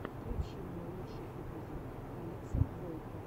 включи мне лучший эпизод алекса бойко